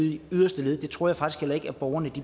det yderste led det tror jeg faktisk heller ikke at borgerne